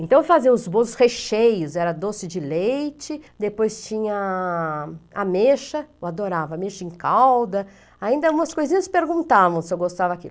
Então faziam os bolos recheios, era doce de leite, depois tinha ameixa, eu adorava ameixa em calda, ainda umas coisinhas perguntavam se eu gostava daquilo.